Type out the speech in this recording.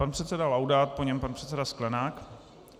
Pan předseda Laudát, po něm pan předseda Sklenák.